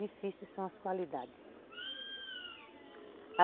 Difíceis são as qualidades.